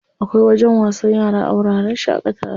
Akwai wajen wasan yara a wuraren shaƙatawa.